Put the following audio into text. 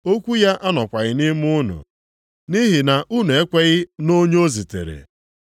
Okwu ya anọkwaghị nʼime unu nʼihi na unu ekweghị nʼonye o zitere.